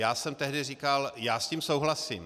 Já jsem tehdy říkal - já s tím souhlasím.